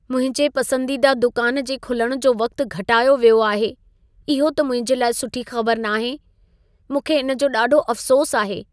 मुंहिंजे पसंदीदा दुकान जे खुलण जो वक़्तु घटायो वियो आहे, इहो त मुंहिंजे लाइ सुठी ख़बर नाहे। मूंखे इन जो ॾाढो अफ़सोसु आहे।